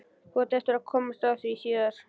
Þú átt eftir að komast að því síðar.